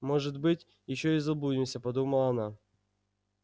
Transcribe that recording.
может быть ещё и заблудимся подумала она